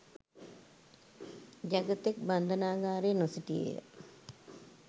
ජගතෙක් බන්ධනාගාරයේ නොසිටියේය